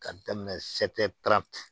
K'a daminɛ